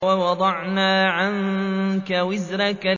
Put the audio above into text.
وَوَضَعْنَا عَنكَ وِزْرَكَ